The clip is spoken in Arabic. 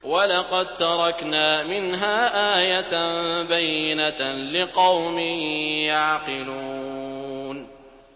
وَلَقَد تَّرَكْنَا مِنْهَا آيَةً بَيِّنَةً لِّقَوْمٍ يَعْقِلُونَ